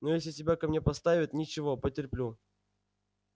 но если тебя ко мне поставят ничего потерплю